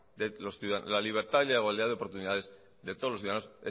y la igualdad de oportunidades de todos los ciudadanos